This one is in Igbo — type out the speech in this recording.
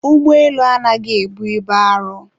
Ụgbọelu anaghị ebu ibu arọ